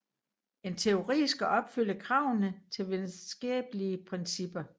En teori skal opfylde kravene til videnskabelige principper